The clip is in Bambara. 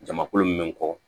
Jamakulu min kɔ